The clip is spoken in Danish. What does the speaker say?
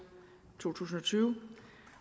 to tusind og tyve